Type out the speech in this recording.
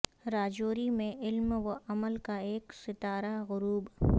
راجوری میں علم و عمل کا ایک ستارہ غروب